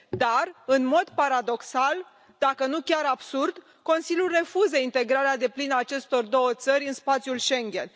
Dar, în mod paradoxal, dacă nu chiar absurd, Consiliul refuză integrarea deplină a acestor două țări în spațiul Schengen.